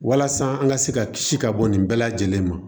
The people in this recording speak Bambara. Walasa an ka se ka kisi ka bɔ nin bɛɛ lajɛlen ma